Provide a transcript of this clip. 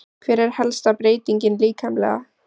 Hver er helsta breytingin líkamlega?